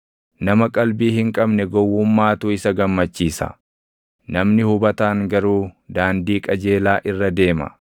Nama qalbii hin qabne gowwummaatu isa gammachiisa; namni hubataan garuu daandii qajeelaa irra deema.